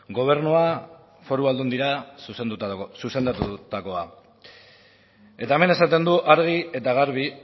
gobernura foru aldundira zuzendutakoa eta hemen esaten dut argi eta garbi